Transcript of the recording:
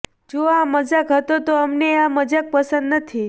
જો આ મજાક હતો તો અમને આ મજાક પસંદ નથી